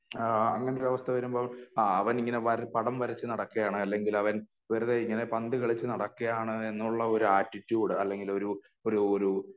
ആഹ് അങ്ങനൊരു അവസ്ഥ വരുമ്പോൾ ആഹ് അവനിങ്ങനെ പടം വരച്ച് നടക്കയാണ് അല്ലെങ്കി അവൻ വെറുതെ ഇങ്ങനെ പന്ത് കളിച്ച നടക്കയാണ് എന്നുള്ള ആറ്റിട്യൂട് അല്ലെങ്കിൽ ഒരു ഒരു ഒരു